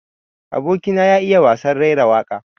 Aboki na ya iya wasan raira waƙa.